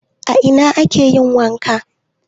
A ina ake yin wanka?